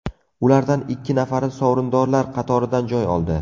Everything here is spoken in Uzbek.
Ulardan ikki nafari sovrindorlar qatoridan joy oldi.